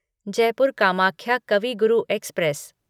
Jaipur Kamakhya Kavi Guru express